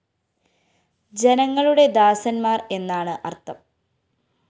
ജനങ്ങളുടെ ദാസന്മാര്‍ എന്നാണ് അര്‍ത്ഥം